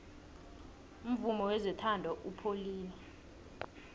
umvumo wezothando upholile